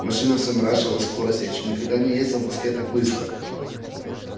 машина всё наращивала скорость я ещё никогда не ездил в москве так быстро